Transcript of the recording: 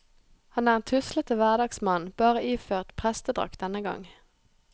Han er en tuslete hverdagsmann, bare iført prestedrakt denne gang.